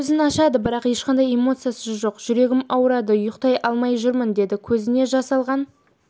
көзін ашады бірақ ешқандай эмоция жоқ жүрегім ауырады ұйықтай алмай жүрмін деді көзіне жас алған